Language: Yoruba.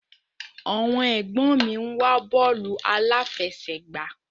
Àwọn ẹ̀gbọ́n mi ń wo bọ́ọ̀lù aláfẹsẹ̀gbá